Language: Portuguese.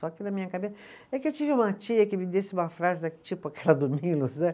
Só que na minha cabeça, é que eu tive uma tia que me disse uma frase, tipo aquela do Milos, né?